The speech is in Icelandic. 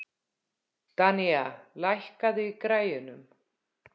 Danía, lækkaðu í græjunum.